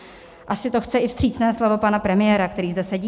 Asi to chce i vstřícné slovo pana premiéra, který zde sedí.